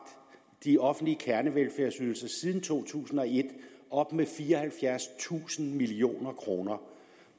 de offentlige kernevelfærdsydelser siden to tusind og et op med fireoghalvfjerdstusind million